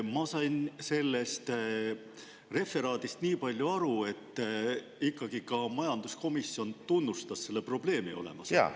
Ma sain sellest referaadist nii palju aru, et ikkagi ka majanduskomisjon tunnustas selle probleemi olemasolu.